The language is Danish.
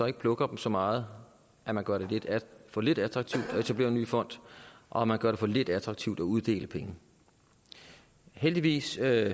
ikke plukker dem så meget at man gør det for lidt attraktivt at etablere en ny fond og at man gør det for lidt attraktivt at uddele penge heldigvis er